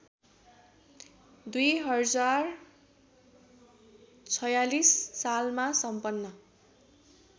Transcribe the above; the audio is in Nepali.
२०४६ सालमा सम्पन्न